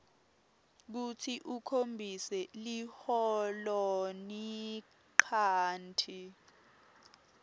kutsi ukhombise liholonchanti